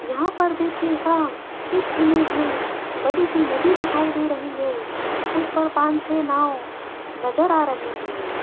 यहां पर देखिएगा इस इमेज में बड़ी सी नदी दिखाई दे रही है उस पर पांच छे नाव नजर आ रही है।